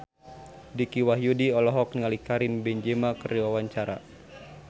Dicky Wahyudi olohok ningali Karim Benzema keur diwawancara